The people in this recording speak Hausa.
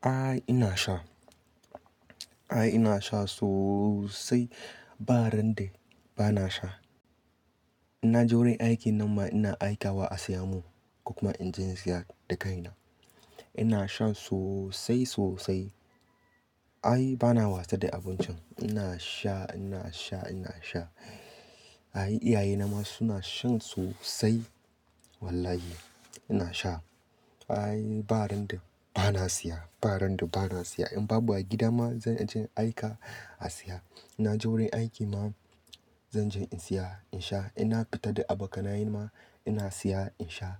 Ai ina sha. Ai ina sha sosai. Ba ran da ba na sha. Na je wurin aiki nan ma ina aikawa a saya mun kuma in je in siya da kaina. Ina shan sosai sosai. Ai ba na wasa da abincin. Ina sha, ina sha, ina sha. Ayi iyaye na ma suna shan sosai. Wallahi ina sha. Ai ba ran da ba na siya, ba ran da ba na siya. In babu a gida ma zan je in aika a siya. Na je wurin aiki ma zan je in siya in sha. Ina fita da abokanaye ma ina siya in sha.